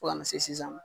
Fo ka na se sisan ma